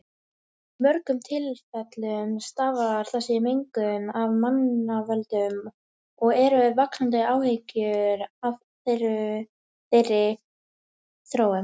Í mörgum tilfellum stafar þessi mengun af mannavöldum og eru vaxandi áhyggjur af þeirri þróun.